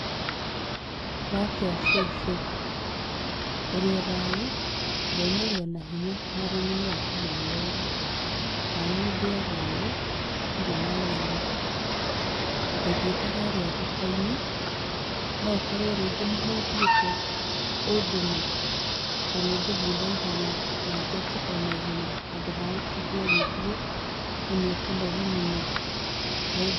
Wakĩa cũcũ, ũrĩo thayũ? Ndona ũrĩo na hinya. Mwathani no akũmenyereire. Na niĩ ndĩo thayũ, ndirĩ naũru. Ngũthiĩte harĩa thoko-inĩ, no ũkorwo rĩngĩ nĩ ho ũthiĩte, ũndũme? To nĩngũthiĩ naihenya na njoke o naihenya, handũ ha ũtinde ũgĩthiĩ na nĩũkũnoga mũno.